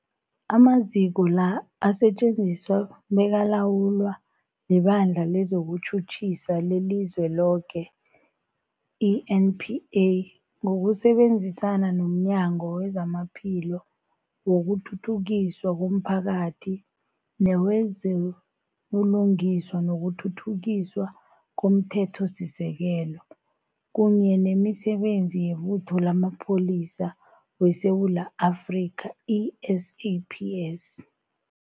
Amaziko la asetjenziswa bekalawulwa liBandla lezokuTjhutjhisa leliZweloke, i-NPA, ngokusebenzisana nomnyango wezamaPhilo, wokuthuthukiswa komphakathi newezo buLungiswa nokuThuthukiswa komThethosisekelo, kunye nemiSebenzi yeButho lamaPholisa weSewula Afrika, i-SAPS.